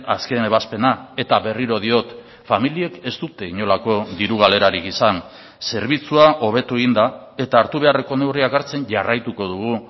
azken ebazpena eta berriro diot familiek ez dute inolako diru galerarik izan zerbitzua hobetu egin da eta hartu beharreko neurriak hartzen jarraituko dugu